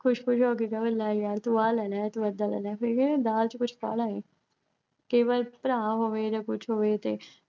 ਖੁਸ਼-ਖੁਸ਼ ਹੋ ਕੇ ਕਵੇ ਕਿ ਲੈ ਯਰ ਤੂੰ ਆ ਲੈ ਲਿਆ ਏਦਾਂ ਲੈ ਲਿਆ ਫਿਰ ਕਹਿੰਦੇ ਆ ਦਾਲ ਚ ਕੁੱਝ ਕਾਲਾ ਏ, ਕਈ ਵਾਰੀ ਭਰਾ ਹੋਵੇ ਤੇ ਕੁੱਝ ਹੋਵੇ ਤੇ